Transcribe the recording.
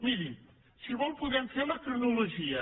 miri si vol en podem fer la cronologia